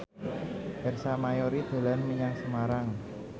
Ersa Mayori dolan menyang Semarang